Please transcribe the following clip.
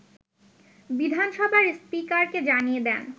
বিধানসভার স্পীকারকে জানিয়ে দেন